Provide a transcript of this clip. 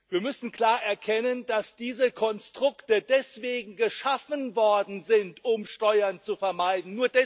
Wir müssen klar erkennen, dass diese Konstrukte dazu geschaffen worden sind, Steuern zu vermeiden.